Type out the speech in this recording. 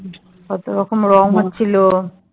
কত রকম রং হচ্ছিলো